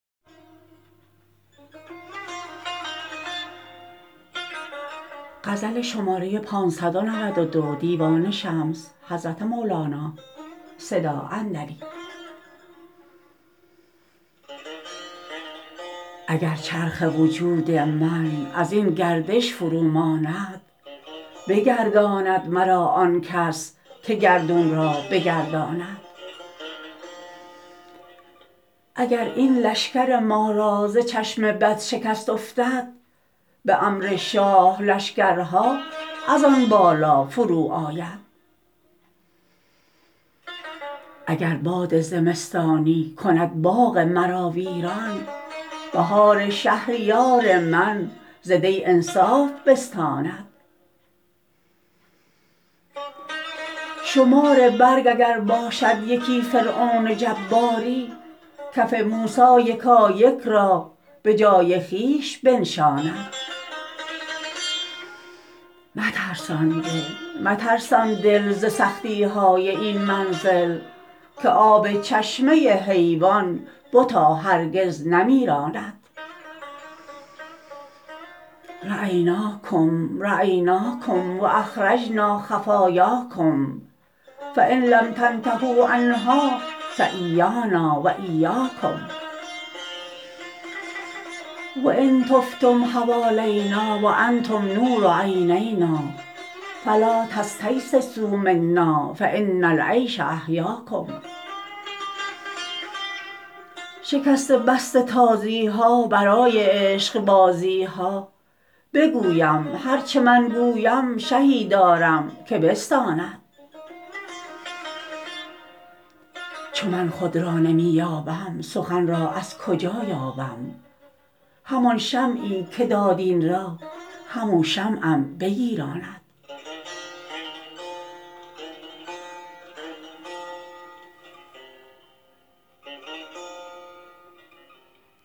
اگر چرخ وجود من از این گردش فروماند بگرداند مرا آن کس که گردون را بگرداند اگر این لشکر ما را ز چشم بد شکست افتد به امر شاه لشکرها از آن بالا فروآید اگر باد زمستانی کند باغ مرا ویران بهار شهریار من ز دی انصاف بستاند شمار برگ اگر باشد یکی فرعون جباری کف موسی یکایک را به جای خویش بنشاند مترسان دل مترسان دل ز سختی های این منزل که آب چشمه حیوان بتا هرگز نمیراند رأیناکم رأیناکم و اخرجنا خفایاکم فإن لم تنتهوا عنها فإیانا و إیاکم و ان طفتم حوالینا و انتم نور عینانا فلا تستییسوا منا فإن العیش احیاکم شکسته بسته تازی ها برای عشقبازی ها بگویم هر چه من گویم شهی دارم که بستاند چو من خود را نمی یابم سخن را از کجا یابم همان شمعی که داد این را همو شمعم بگیراند